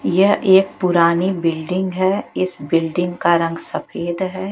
ये एक पुरानी बिल्डिंग है इस बिल्डिंग का रंग सफेद है।